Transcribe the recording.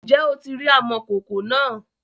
ǹjẹ́ o ti rí amòkòkò náà?